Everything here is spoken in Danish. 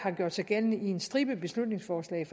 gør sig gældende i en stribe beslutningsforslag